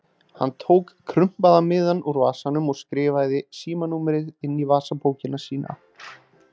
Hann tók krumpaða miðann úr vasanum og skrifaði síma- númerið inn í vasabókina sína.